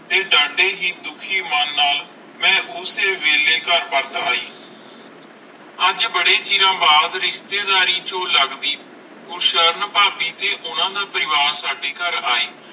ਤੇ ਦਾਦੇ ਹੈ ਦੁਖੀ ਮਨ ਨਾਲ ਮਈ ਓਸੇ ਵੇਲੇ ਕਰ ਬਾਜ ਆਈ ਅਜੇ ਬਾਰੇ ਚਿਰ ਬਾਦ ਰਿਸ਼ਤੇਦਾਰੀ ਚੁਈ ਲੱਗਦੀ ਕੁਰਸ਼ਾਂ ਫਾਬੀ ਤੇ ਓਨਾ ਦਾ ਪਰਿਵਾਰ ਸਾਡੇ ਕਰ ਆਈ